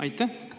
Aitäh!